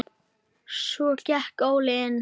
Svo gekk Óli inn.